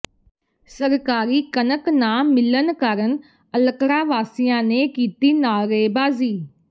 ਸਰਕਾਰੀ ਕਣਕ ਨਾ ਮਿਲਣ ਕਾਰਨ ਅਲਕੜਾ ਵਾਸੀਆਂ ਨੇ ਕੀਤੀ ਨਾਅਰੇਬਾਜ਼ੀ